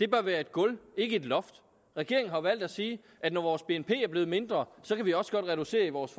bør være et gulv ikke et loft regeringen har jo valgt at sige at når vores bnp er blevet mindre kan vi også godt reducere vores